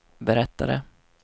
berättade